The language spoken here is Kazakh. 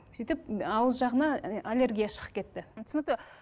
сөйтіп ауыз жағына аллергия шығып кетті түсінікті